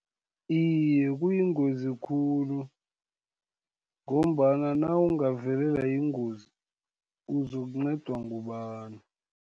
Iye, kuyingozi khulu, ngombana nawungavelelwa yingozi, uzokuncedwa ngubani.